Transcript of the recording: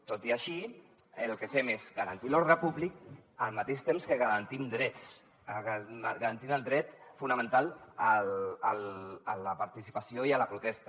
tot i així el que fem és garantir l’ordre públic al mateix temps que garantim drets garantint el dret fonamental a la participació i a la protesta